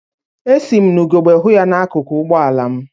E si m ugegbe hụ ya n'akụkụ ụgbọala m.